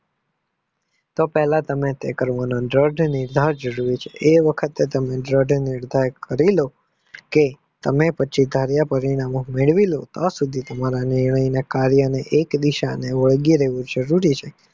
તો તમે પહેલા તાઈ કરી લો આ વખતે ઢરડ નિધાયક કરીલો કે તમે પછી ધારિયા પરિણામો મેળવી લો ત્યાં સુધી તમારા નીર્ણય ને કાર્યોમાં એક દિશા વળગી રહેવું જરૂરી છે.